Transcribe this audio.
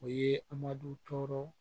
O ye amadu tɔɔrɔw